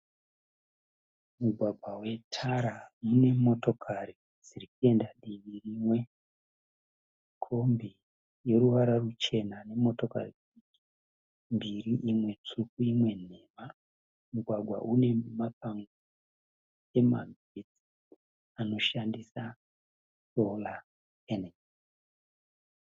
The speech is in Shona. Mugwagwa wetara mune motokari dziri kuenda divi rimwe. Kombi yeruvara ruchena nemotokari mbiri imwe tsvuku imwe nhema. Mugwagwa une mapango emagetsi anoshandisa Solar.